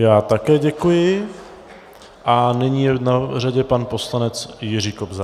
Já také děkuji a nyní je na řadě pan poslanec Jiří Kobza.